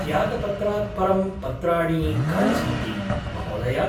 त्यागपत्रात् परं पत्राणि कानि सन्ति, महोदया?